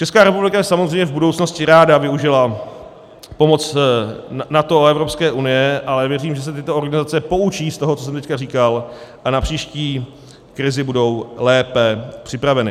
Česká republika by samozřejmě v budoucnosti ráda využila pomoc NATO a Evropské unie, ale věřím, že se tyto organizace poučí z toho, co jsem teď říkal, a na příští krizi budou lépe připraveny.